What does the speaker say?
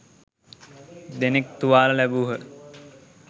දෙනෙක් තුවාල ලැබූහ